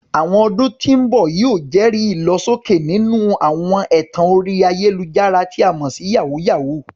Àwọn ọdún tí ń bọ̀ yóò jẹ́rìí ìlọsókè nínú àwọn ẹ̀tàn orí ayélujára, tí a mọ̀ sí "yàwúyáwù ."